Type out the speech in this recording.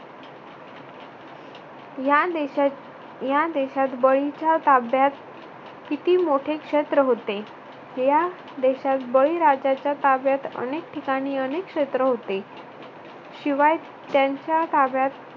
या देशात या देशात बळीच्या ताब्यात किती मोठे क्षेत्र होते. या देशात बळीराजाच्या काव्यात अनेक ठिकाणी अनेक क्षेत्र होते. शिवाय त्यांच्या ताब्यात